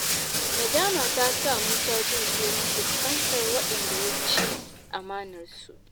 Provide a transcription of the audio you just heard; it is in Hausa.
Nadama ta sa Musa jin tsoron fuskantar waɗanda ya ci amanarsu.